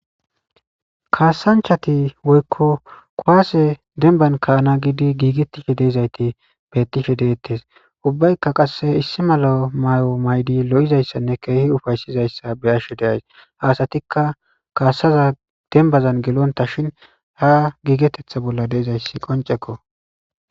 Kasanchati woyko kuwase demban ka'ana gidi gigetishe de'iyayti betishe de'eyes ubbayka qase issi mala mayo mayidi lo'izaysanne kehi ufaysizaysa beyashe de'aus ha asatika kasaza dembazan gelonta shin ha gigetetha bolla de'izaysi qonceko